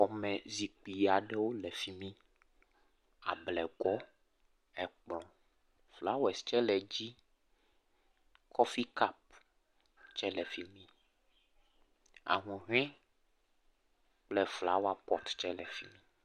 Xɔme zikpui aɖewo le fimi. Ablegɔ, ekplɔ, flowers tsɛ le edzi. Kofee kɔpu tsɛ le afi. Ahuhɔɛ kple flower pɔt tsɛ le efimi.